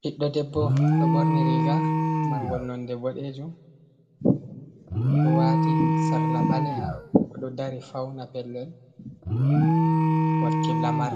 Biɗɗo ɗebbo ɗo borni riga margol nonɗe boɗejum. Oɗo wati sarla baleha. Oɗo dari fauna pellel. wakki lamar.